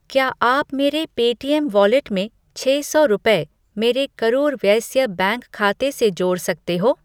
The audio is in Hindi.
क्या आप मेरे पे टीएम वॉलेट में छः सौ रुपये मेरे करूर वायस्या बैंक खाते से जोड़ सकते हो?